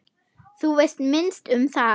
Þú veist minnst um það.